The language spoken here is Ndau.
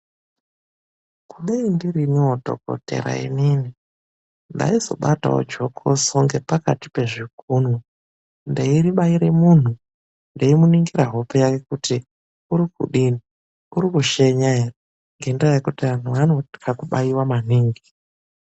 DAI NDIRINIWO DHOKOTERA ININI NDAIZOBATAWO JOKOSO NGEPAKATI PEZVIKUNWE, NDAIRIBAIRE MUNHU NDEINIMGIRA HOPE YAKE KUTI URIKUDINI KUTI URIKUSHENYA ERE NGENDAA YEKUTI ANHU ANOTYE KUBAIWA MANINGI.